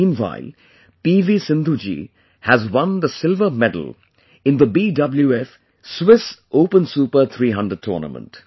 Meanwhile P V Sindhu ji has won the Silver Medal in the BWF Swiss Open Super 300 Tournament